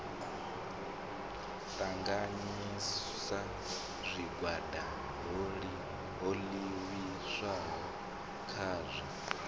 ṱanganyisa zwigwada ho livhiswaho khazwo